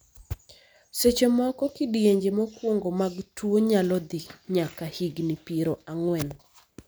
seche moko, kidienje mokwongo mag tuo nyalo dhi nyaka higni piero ang'wen